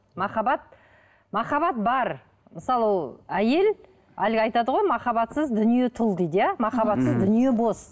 махаббат махаббат бар мысалы әйел әлгі айтады ғой махаббатсыз дүние тұл дейді иә махаббатсыз дүние бос